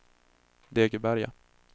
Degeberga